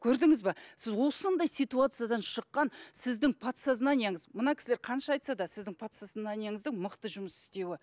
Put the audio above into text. көрдіңіз бе сіз осындай ситуациядан шыққан сіздің подсознанияңыз мына кісілер қанша айтса да сіздің подсознанияңыздың мықты жұмыс істеуі